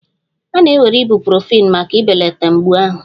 A na-ewere Ibuprofen maka ibelata mgbu ahụ